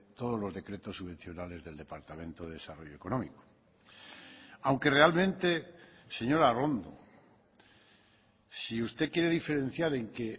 todos los decretos subvencionales del departamento de desarrollo económico aunque realmente señora arrondo si usted quiere diferenciar en que